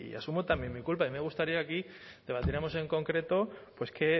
asumo también mi culpa a mí me gustaría aquí debatiéramos en concreto pues que